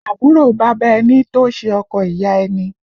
Àbúrò bàbá ẹni tó ṣe ọkọ ìyá ẹni